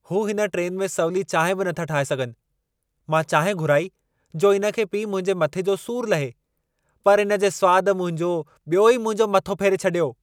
हू हिन ट्रेन में सवली चांहि बि नथा ठाहे सघनि। मां चांहि घुराई जो इन खे पी मुंहिंजे मथे जो सूर लहे, पर इन जे स्वाद मुंहिंजो ॿियो ई मुंहिंजो मथो फेरे छॾियो।